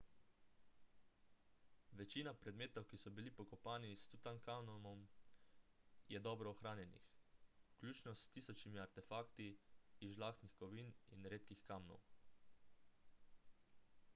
večina predmetov ki so bili pokopani s tutankamonom je dobro ohranjenih vključno s tisočimi artefakti iz žlahtnih kovin in redkih kamnov